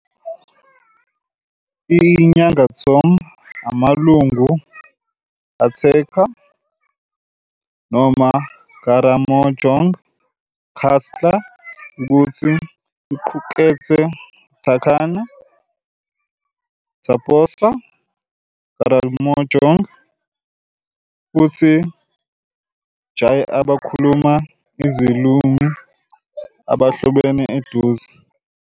I Nyangatom bangamalungu Ateker noma Karamojong cluster ukuthi iqukethe Turkana, Toposa, Karamojong, futhi Jie abakhuluma izilimi ahlobene eduze.